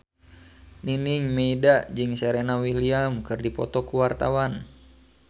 Nining Meida jeung Serena Williams keur dipoto ku wartawan